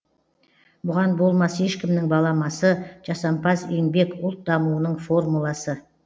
бұған болмас ешкімнің баламасы жасампаз еңбек ұлт дамуының формуласы